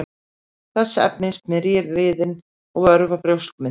þessi efni smyrja liðinn og örva brjóskmyndun